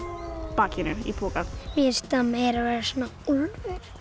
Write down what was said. bakinu í poka mér finnst það meira vera svona úlfur